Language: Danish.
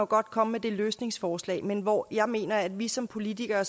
godt komme med det løsningsforslag men hvor jeg mener at vi som politikere